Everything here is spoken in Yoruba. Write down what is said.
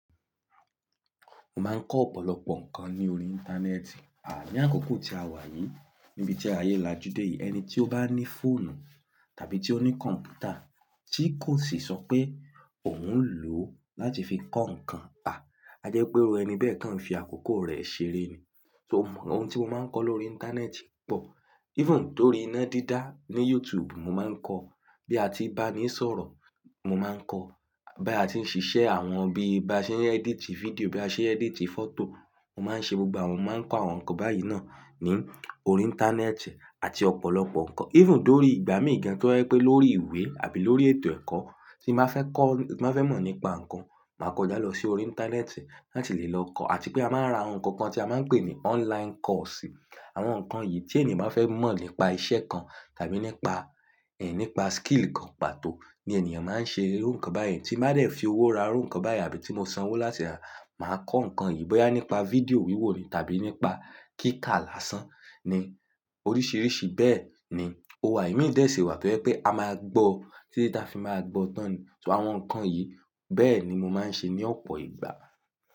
Mo máa ń kọ́ ọ̀pọ̀lọpọ̀ nǹkan ní orí Íńtánẹ́ẹ̀tì. À ní àkókò tí a wà yìí, níbi tí ayé lájú dé yìí, ẹni tí ó bá ní fóònù tàbí tí ó ní kọ̀m̀pútà tí kò sì sọ pé òun ń lò ó láti fi kọ́ nǹkan, ha! Àjẹ́ pé irú ẹni bẹ́ẹ̀ kan n fi àkókò rẹ̀ ṣeré ni. So òun, ohun tí mo máa ń kọ́ lórí Íńtánẹ́ẹ̀tì pọ̀. Even torí iná dídá ní YouTube mo máa ń kọ́, bí a ti bá ní sọ̀rọ̀ mo máa ń kọ́, bí a ti ń ṣiṣẹ́ àwọn bí a ṣe ń edit fídíò, bí a ṣe ń edit fọ́tò mo máa ń ṣe gbogbo àwọn ohun, mo máa ń kọ́ àwọn nǹkan báyìí náà ní orí Íńtánẹ́ẹ̀tì àti ọ̀pọ̀lọpọ̀ nǹkan. Even d'órí ìgbà mí gan tó jẹ pé lórí ìwé àbí lórí ètò ẹ̀kọ́ tí mo fẹ́ kọ́, tí mo fẹ́ mọ̀ nípa nǹkan, màá kọjá lọ sí orí Íńtánẹ́ẹ̀tì láti lè lọ kọ́ àti pé a máa ń ra àwọn nǹkan kan tí a máa ń pè ní online course. Àwọn nǹkan yìí tí ènìyàn bá fẹ́ mọ̀ nípa iṣẹ́ kan tàbí nípa, ẹ́, nípa skill kan pàtó ni ènìyàn máa ń ṣe irú nǹkan báyìí tí máa dẹ̀ fi owó ra irú nǹkan báyìí àbí tí mo sanwó láti máa kọ́ nǹkan yìí bóyá nípa fídíò wíwò ni tàbí nípa kíkà lásán ni. Oríṣìíríṣìí bẹ́ẹ̀ ni ó wà. Imi dẹ̀ ṣi wà tó jẹ pé a máa gbọ́, títi ta fi máa gbọ́ tán ni. So àwọn nǹkan yìí bẹ́ẹ̀ ni mo máa ń ṣe ní ọ̀pọ̀ ìgbà.